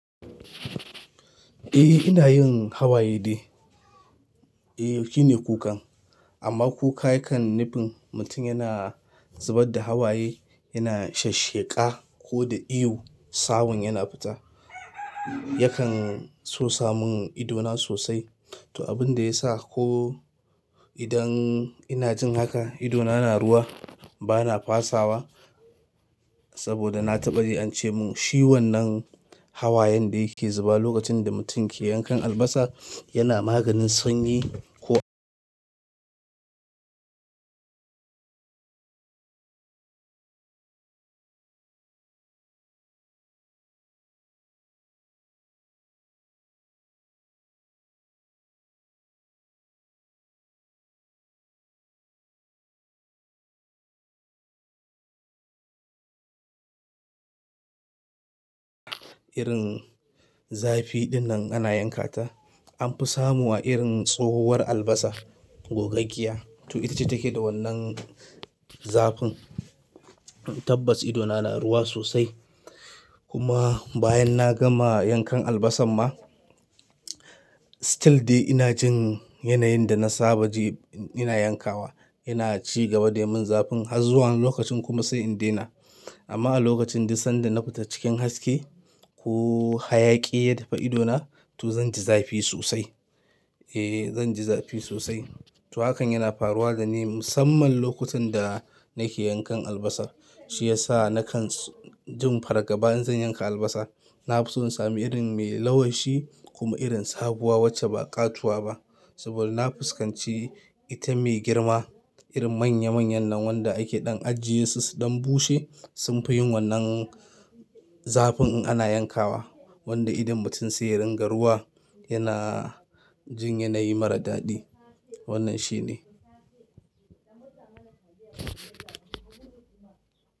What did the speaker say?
Eh ina yin hawaye dai. Eh shine kukan, amma kuka yakan nufin mutum yana zubar da hawaye, yana shesheƙa ko da ihu sawun yana fita. Yakan sosa mun idona sosai. To abin da ya sa ko idan ina jin haka, idona yana ruwa bana fasawa saboda na taɓa yi an ce mun ciwon nan hawayen da yake zuba lokacin da mutum ke yankan albasa yana maganin sanyi. Ko irin zafi dinnan ana yankata an fi samu a irin tsohuwar albasa gogaggiya. To ita ce take da wannan zafin. Tabbas idona na ruwa sosai. Kuma bayan na gama yankan albasar ma, still dai ina jin yanayin da na saba ji ina yankawa. Yana cigaba da yin zafin har zuwa wani lokacin kuma sai in daina. Amma a lokacin duk sanda na fita cikin haske ko hayaƙi ya taba idona to zan ji zafi sosai. Eh zan ji zafi sosai. To hakan yana faruwa da ni musamman lokutan da nake yankan albasa. Shi yasa na kan jin fargaba in zan yanka albasa. Na fi so in sami irin mai lawashi kuma irin sabuwa wacce ba ƙatuwa ba. Saboda na fuskanci ita mai girma irin manya manyan nan wanda ake ɗan ajiye su dan bushe sun fi yin wannan zafin in ana yankawa wanda idon mutum sai ya ringa ruwa yana jin yanayi mara daɗi. Wannan shi ne.